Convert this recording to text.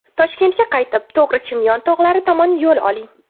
Toshkentga qaytib, to‘g‘ri Chimyon tog‘lari tomon yo‘l oling.